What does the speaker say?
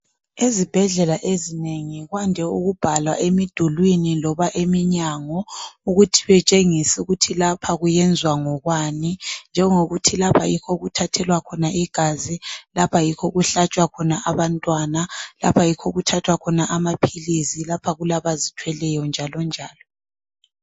Ezibhedlela ezinengi kwande ukubhalwa emidulwini loba eminyango ukuthi betshengise ukuthi lapha kuyenzwa ngokwani njengokuthi lapha yikho okuthathelwa igazi, lapha yikho okuhlatshwa khona abantwana, lapha yikho okuthathwa khona amaphilisi lapha kulabazithweleyo njalonjalo.